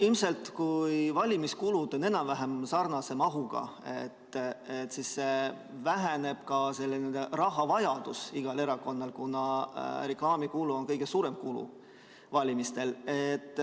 Ilmselt kui valimiskulud on enam-vähem sarnase mahuga, siis väheneb ka selline rahavajadus igal erakonnal, kuna reklaamikulu on kõige suurem kulu valimistel.